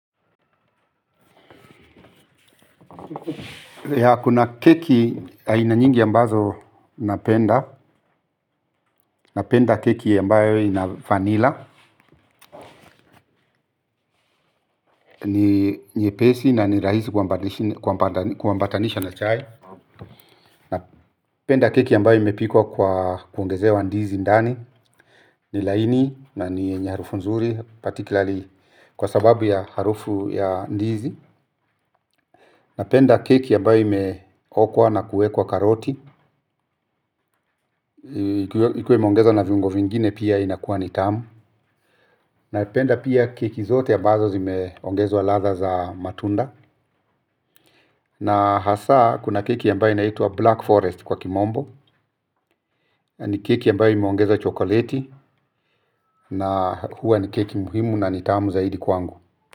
Ya kuna keki aina nyingi ambazo napenda. Napenda keki ambayo ina vanila. Ni nyepesi na ni rahisi kuambatanisha na chai. Napenda keki ambayo imepikwa kwa kuongezewa ndizi ndani. Ni laini na ni yenye harufu nzuri Patikilali kwa sababu ya harufu ya ndizi. Napenda keki ambayo imekokwa na kuwekwa karoti ikuwe imeongezwa na viungo vingine pia inakuwa ni tamu napenda pia keki zote ambazo zimeongezwa ladha za matunda na hasa kuna keki ambayo inaitwa black forest kwa kimombo ni keki ambayo imeongezwa chokoleti na huwa ni keki muhimu na ni tamu zaidi kwangu.